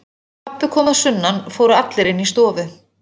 Eftir að pabbi kom að sunnan fóru allir inn í stofu.